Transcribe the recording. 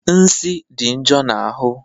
Nsi dị njo na ahụ